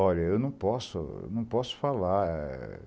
Olha, eu não posso, eu não posso falar.